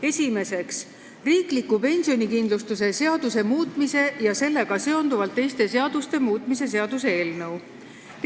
Esiteks, riikliku pensionikindlustuse seaduse muutmise ja sellega seonduvalt teiste seaduste muutmise seaduse eelnõu.